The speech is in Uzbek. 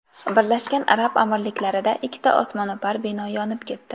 Birlashgan Arab Amirliklarida ikkita osmono‘par bino yonib ketdi.